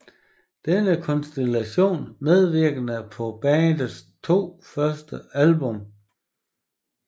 Denne konstellation medvirkede på bandets to første album